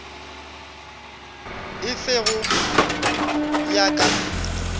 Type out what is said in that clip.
e fe go ya ka